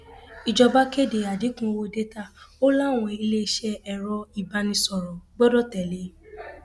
ìjọba kéde àdínkù owó dátà ó láwọn iléeṣẹ ẹrọ ìbánisọrọ gbọdọ tẹlé e